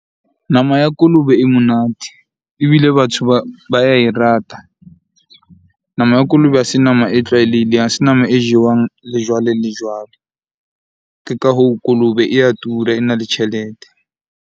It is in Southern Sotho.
Nama ya kolobe e monate ebile batho ba ya e rata. Nama ya kolobe ha se nama e tlwaelehileng, ha se nama e jewang le jwale le jwale. Ke ka hoo kolobe e ya tura, ena le tjhelete.